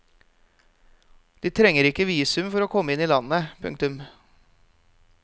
De trenger ikke visum for å komme inn i landet. punktum